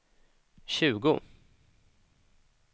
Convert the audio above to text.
tjugo